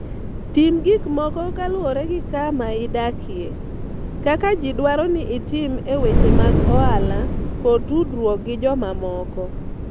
Tim gik moko kaluwore gi kama idakie, kaka ji dwaro ni itim e weche mag ohala kod tudruok gi jomamoko.